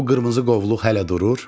O qırmızı qovluq hələ durur?